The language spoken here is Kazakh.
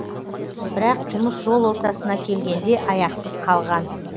бірақ жұмыс жол ортасына келгенде аяқсыз қалған